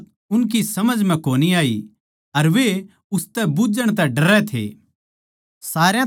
पर या बात उनकी समझ म्ह कोनी आई अर वे उसतै बुझ्झण तै डरै थे